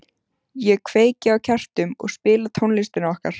Ég kveiki á kertum og spila tónlistina okkar.